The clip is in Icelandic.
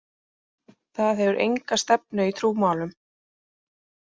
Það hefur enga stefnu í trúmálum.